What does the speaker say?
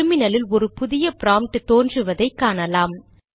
டெர்மினலில் ஒரு புதிய ப்ராம்ப்ட் தோன்றுவதை காணலாம்